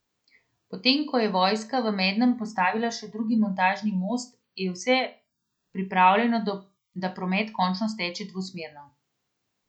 Potem ko je vojska v Mednem postavila še drugi montažni most, je vse pripravljeno da promet končno steče dvosmerno.